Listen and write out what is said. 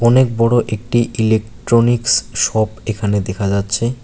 অনেক বড় একটি ইলেকট্রনিকস শপ এখানে দেখা যাচ্ছে।